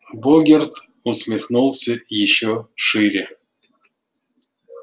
богерт усмехнулся ещё шире